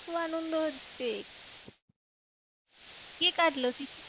খুব আনন্দ হচ্ছে। কে কাটলো?